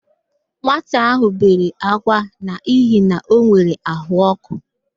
Nwata ahụ bere ákwá n'ihi na o nwere àhụ́ọkụ.